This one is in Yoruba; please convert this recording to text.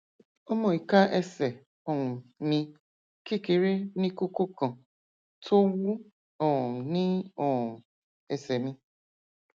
ọmọ ìka ẹsẹ um mi kékeré ní kókó kan tó wú um ní um ẹsẹ mi